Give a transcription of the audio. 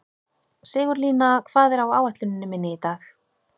Sigurlína, hvað er á áætluninni minni í dag?